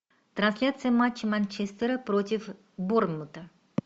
трансляция матча манчестера против борнмута